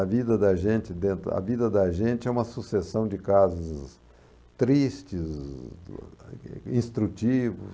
A vida da gente dentro a vida da gente é uma sucessão de casos tristes, instrutivos,